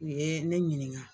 U ye ne ɲininka.